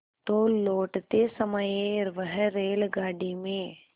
तो लौटते समय वह रेलगाडी में